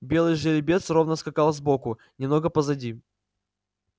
белый жеребец ровно скакал сбоку немного позади